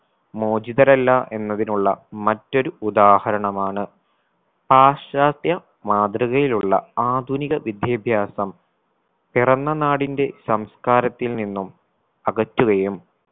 മോചിതരല്ല എന്നതിനുള്ള മറ്റൊരു ഉദാഹരണമാണ് പാശ്ചാത്യ മാതൃകയിലുള്ള ആധുനിക വിദ്യാഭ്യാസം പിറന്ന നാടിൻറെ സംസ്കാരത്തിൽ നിന്നും അകറ്റുകയും